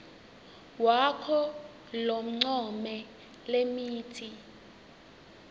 wakho loncome lemitsi